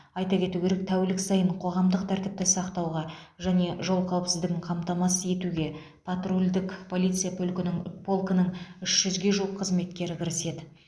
айта кету керек тәулік сайын қоғамдық тәртіпті сақтауға және жол қауіпсіздігін қамтамасыз етуге патрульдік полиция пөлкінің полкінің үш жүзге жуық қызметкері кіріседі